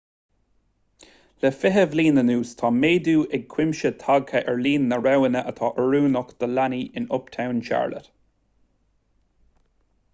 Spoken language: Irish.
le 20 bliain anuas tá méadú as cuimse tagtha ar líon na roghanna atá oiriúnach do leanaí in uptown charlotte